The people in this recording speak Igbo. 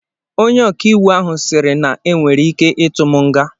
Onye ọkàiwụ ahụ sịrị na e nwere ike ịtụ m nga